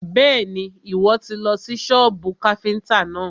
Bẹ́ẹ̀ni, Ìwọ́ tì lọ sí sọ́bù káfíntà náà.